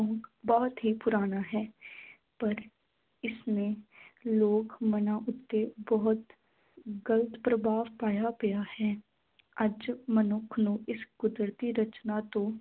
ਬਹੁਤ ਹੀ ਪੁਰਾਣਾ ਹੈ ਪਰ ਇਸਨੇ ਲੋਕ ਮਨਾਂ ਉੱਤੇ ਬਹੁਤ ਗਲਤ ਪ੍ਰਭਾਵ ਪਾਇਆ ਪਿਆ ਹੈ ਅੱਜ ਮਨੁੱਖ ਨੂੰ ਇਸ ਕੁਦਰਤੀ ਰਚਨਾ ਤੋਂ